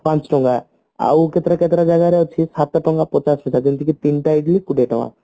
ପାଞ୍ଚଟଙ୍କା ଆଉ କେତେଟା କେତେଟା ଜାଗାରେ ସାତଟଙ୍କା ପଚାଶ ପଇସା ଯେମତିକି ତିନିଟା ଇଡିଲି କୋଡିଏ ଟଙ୍କା